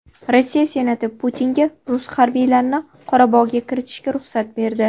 Rossiya Senati Putinga rus harbiylarini Qorabog‘ga kiritishga ruxsat berdi.